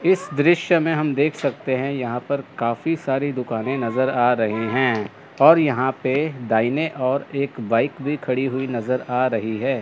इस दृश्य में हम देख सकते है यहां पर काफी सारी दुकानें नज़र आ रहे हैं और यहां पे दाहिने और एक बाइक भी खड़ी हुई नज़र आ रही है।